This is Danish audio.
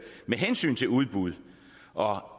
hensyn til udbud og